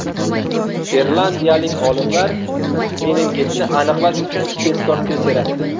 Irlandiyalik olimlar meningitni aniqlash uchun tezkor test yaratdi.